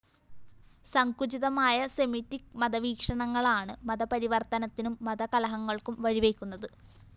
സങ്കുചിതമായ Semitic മത വീക്ഷണങ്ങളാണ്‌ മതപരിവര്‍ത്തനത്തിനും മതകലഹങ്ങള്‍ക്കും വഴിവെയ്ക്കുന്നത്‌